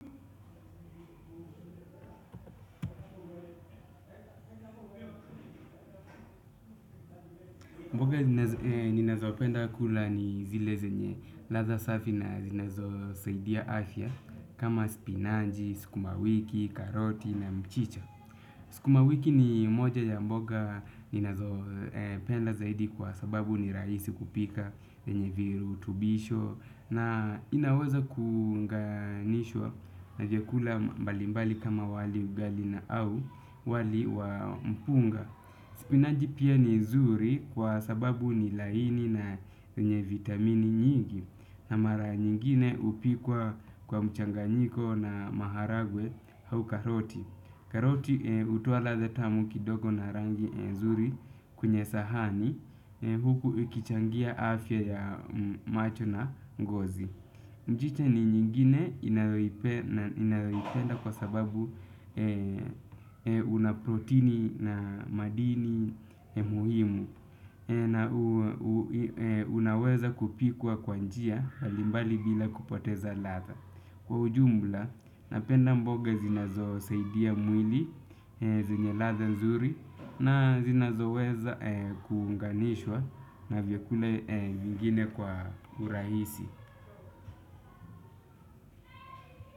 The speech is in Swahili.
Mboga ninazopenda kula ni zile zenye ladha safi na zinazosaidia afya kama spinanji, sukumawiki, karoti na mchicha. Sukumawiki ni moja ya mboga ninazopenda zaidi kwa sababu ni raisi kupika, zenye virutubisho na inaweza kuunganishwa na vyakula mbalimbali kama wali, ugali na au wali wa mpunga. Spinaji pia ni nzuri kwa sababu ni laini na zenye vitamini nyingi. Na mara nyingine hupikwa kwa mchanganyiko na maharagwe au karoti. Karoti hutoa ladha tamu kidogo na rangi nzuri kwenye sahani huku ikichangia afya ya macho na ngozi. Mchicha ni nyingine ninayoipenda kwa sababu una proteini na madini muhimu. Na unaweza kupikwa kwa njia mbalimbali bila kupoteza ladha. Kwa ujumla, napenda mboga zinazosaidia mwili zenye ladha nzuri na zinazoweza kuunganishwa na vyakule vingine kwa urahisi.